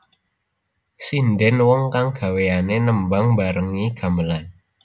Sindhèn wong kang gawéané nembang mbarengi gamelan